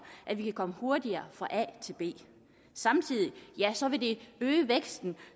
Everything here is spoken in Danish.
at vi kan komme hurtigere fra a til b samtidig vil det øge væksten